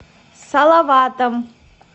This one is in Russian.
салаватом